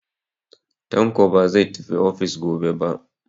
Tanko ba zai tafi ofis gobe ba.